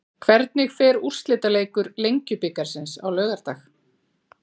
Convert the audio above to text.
Hvernig fer úrslitaleikur Lengjubikarsins á laugardag?